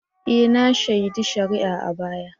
E! na shaidi shari'a a baya.